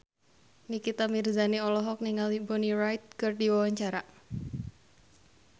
Nikita Mirzani olohok ningali Bonnie Wright keur diwawancara